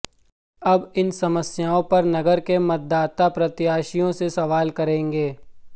अब इन समस्याओं पर नगर के मतदाता प्रत्याशियों से सवाल करेंगे